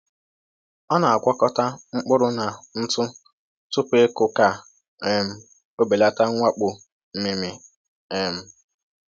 Ọ na‑agwakọta mkpụrụ na ntụ tupu ịkụ ka um o belata mwakpo mmịmị. um